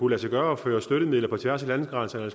lade sig gøre at føre støttemidler på tværs af landegrænserne